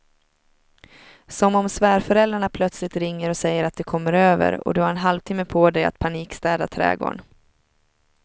Som om svärföräldrarna plötsligt ringer och säger att de kommer över och du har en halvtimme på dig att panikstäda trädgården.